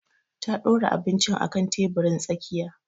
Ta ɗura abinci akan teburin tsakiya